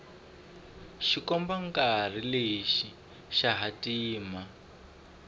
xikombankarhi lexi xa hatima